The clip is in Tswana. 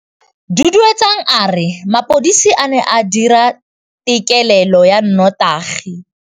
Duduetsang a re mapodisa a ne a dira têkêlêlô ya nnotagi.